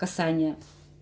касания